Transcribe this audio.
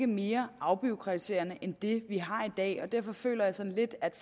mere afbureaukratiserende end det vi har i dag og derfor føler jeg sådan lidt at